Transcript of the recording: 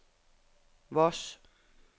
Voss